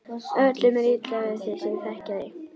Öllum er illa við þig sem þekkja þig!